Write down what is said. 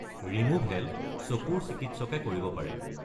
Removal চকুৰ চিকিৎসকে কৰিব পাৰে।